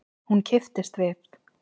Hún kipptist við.